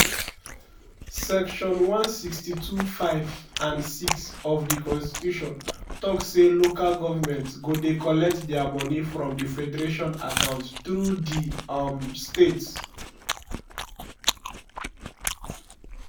section 162 (5) and (6) of di constitution tok say local governments go dey collect dia money from di federation account through di um states.